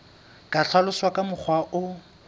ka hlaloswa ka mokgwa o